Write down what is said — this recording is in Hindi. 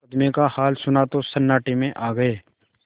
मुकदमे का हाल सुना तो सन्नाटे में आ गये